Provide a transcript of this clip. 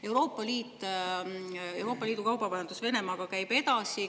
Euroopa Liidu kaubavahetus Venemaaga käib edasi.